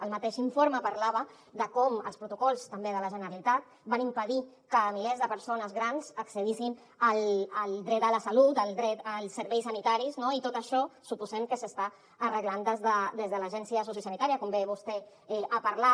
el mateix informe parlava de com els protocols també de la generalitat van impedir que milers de persones grans accedissin al dret a la salut al dret als serveis sanitaris no i tot això suposem que s’està arreglant des de l’agència sociosanitària com bé vostè ha parlat